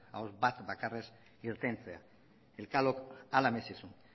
ahots bat bakarrez irtetea elkanok hala merezi zuen